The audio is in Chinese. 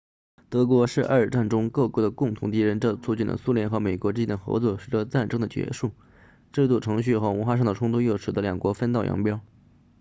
德国是二战中各国的共同敌人这促进了苏联和美国之间的合作随着战争的结束制度程序和文化上的冲突又使得两国分道扬镳